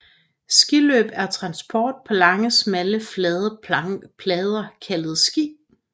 Skiløb er transport på lange smalle flade plader kaldet ski